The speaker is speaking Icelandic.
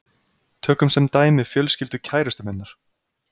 Tökum sem dæmi fjölskyldu kærustu minnar.